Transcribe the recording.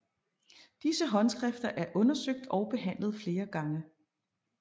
Disse håndskrifter er undersøgt og behandlet flere gange